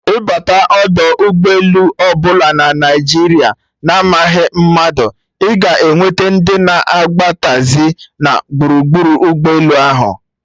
Ịbata ọdọ ụgbọ elu ọbụla na Naijiria na amaghị mmadụ, ịga enweta ndị na-agba taxi na gburugburu ụgbọ elu ahụ